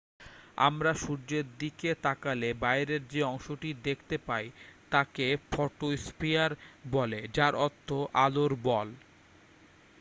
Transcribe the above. "আমরা সূর্যের দিকে তাকালে বাইরের যে অংশটি দেখতে পাই তাকে ফটোস্ফিয়ার বলে যার অর্থ "আলোর বল""।